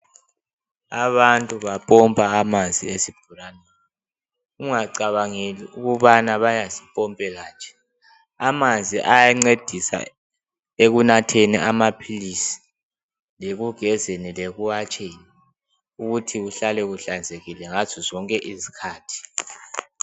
Abantu bapompa amanzi esibhoraneni ungacabangeli ukubana bayazipompela nje amanzi ayancedisa ekunatheni amaphilisi lekugezeni lekuwatsheni uthi kuhlale kuhlanzekile ngazo zonke izikhathi.